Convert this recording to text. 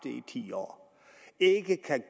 i ti år ikke kan